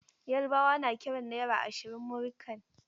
Yarbawa na kiran naira ashirin "Múrí kan".